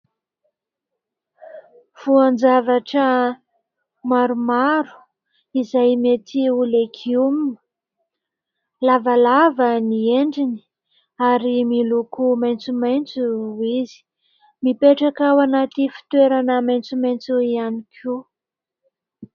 Voan-javatra maromaro izay metỳ ho legioma. Lavalava ny endriny ary miloko maintsomaintso izy. Mipetraka ao anaty fitoerana maintsomaintso ihany koa.